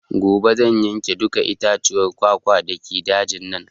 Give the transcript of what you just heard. Gobe zan yanke dukka itaccen kwakwa dake dajin nan